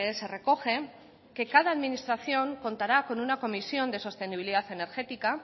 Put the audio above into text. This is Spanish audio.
se recoge que cada administración contará con una comisión de sostenibilidad energética